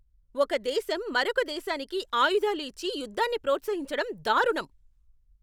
ఒక దేశం మరొక దేశానికి ఆయుధాలు ఇచ్చి యుద్ధాన్ని ప్రోత్సహించడం దారుణం.